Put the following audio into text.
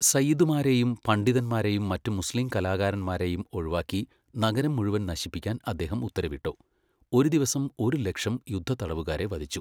സയ്യിദുമാരെയും പണ്ഡിതന്മാരെയും മറ്റ് മുസ്ലീം കലാകാരന്മാരെയും ഒഴിവാക്കി നഗരം മുഴുവൻ നശിപ്പിക്കാൻ അദ്ദേഹം ഉത്തരവിട്ടു, ഒരു ദിവസം ഒരു ലക്ഷം യുദ്ധത്തടവുകാരെ വധിച്ചു.